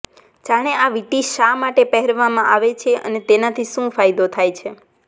જાણો આ વીંટી શા માટે પહેરવામાં આવે છે અને તેનાથી શુ ફાયદો થાય છે